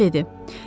Jo dedi.